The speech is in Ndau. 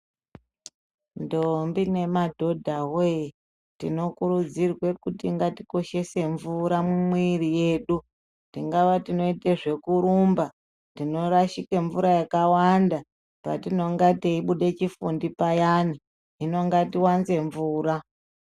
Ntombi nemadhodha we tinokurudzirwe kutingatikoshese mvura mumwiri yedu tingava tinoite zvekurumba tino rashike mvura yakawanda patinenga teibude chifundi payani hino ngatiwanze mvura